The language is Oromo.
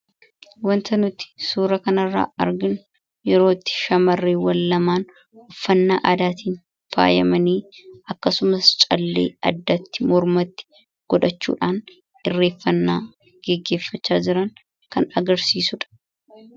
Waanta nuti suuraa kana irra arginuu yeroo itti shamareewwaan lamaan uffanaa aadaattin faayamani akksumaas caalee mormatti, addatti godhachuudhaan hireefannaa godhacha jiraan kan agarsisuudha.